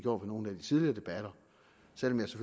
under nogle af de tidligere debatter